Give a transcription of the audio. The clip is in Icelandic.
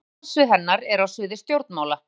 helstu starfssvið hennar eru á sviði stjórnmála